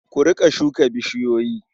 Ku riƙa shuka bishiyoyi.